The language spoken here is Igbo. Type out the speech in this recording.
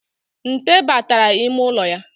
Nte batara ime ụlọ ya